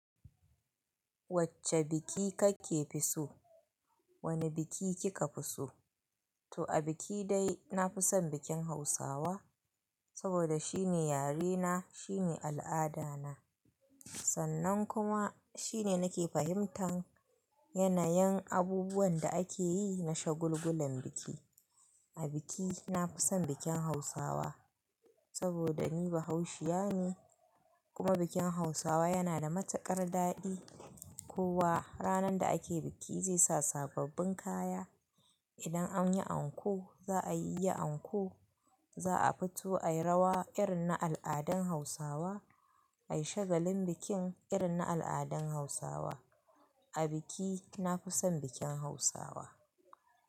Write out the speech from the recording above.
Wacce biki kake fi so? Wane biki kika fi so? To a biki dai na fi son bikin Hausawa, saboda shine yare na, shine al'ada na. Sannan kuma shine nake fahimtan yanayin abubuwan da akeyi na shagulgulan biki. A biki na fi son bikin Hausawa saboda ni bahausiya ne kuma bikin Hausawa yana da matukar daɗi. Kowa ranar da akeyi biki zai sa sababbin kaya. Idan anyi anko za'a yi yi anko, za'a fito ayi rawa irin na al'adun Hausawa, a yi shagalin bikin irin na al'adan Hausawa. A biki na fi son bikin Hausawa.